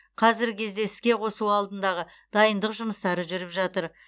қазіргі кезде іске қосу алдындағы дайындық жұмыстары жүріп жатыр